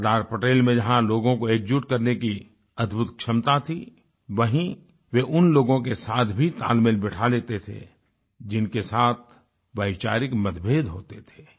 सरदार पटेल में जहाँ लोगों को एकजुट करने की अद्भुत क्षमता थी वहीँ वे उन लोगों के साथ भी तालमेल बिठा लेते थे जिनके साथ वैचारिक मतभेद होते थे